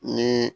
Ni